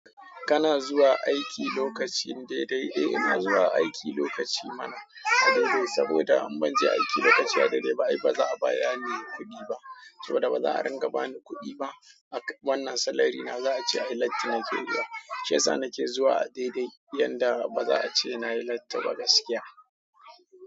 Kana zuwa aiki lokaci daidai? E ina zuwa aiki alokaci mana, saboda idan banje aiki lokaci a daidai ba ai ba za'a biyani kuɗi ba, saboda ba za'a dinga bani kuɗi ba wannan salary na za a ce ai latti na ke yiwa. Shiyasa na ke zuwa a daidai yanda ba za a ce na yi latti ba gaskiya.